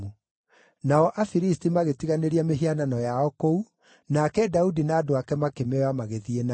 Nao Afilisti magĩtiganĩria mĩhianano yao kũu, nake Daudi na andũ ake makĩmĩoya magĩthiĩ nayo.